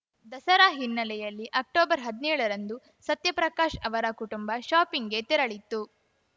ದಸರಾ ಹಿನ್ನೆಲೆಯಲ್ಲಿ ಅಕ್ಟೊಬರ್ಹದ್ನೇಳರಂದು ಸತ್ಯಪ್ರಕಾಶ್‌ ಅವರ ಕುಟುಂಬ ಶಾಪಿಂಗ್‌ಗೆ ತೆರಳಿತ್ತು